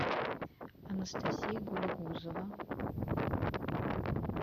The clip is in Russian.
анастасия галигузова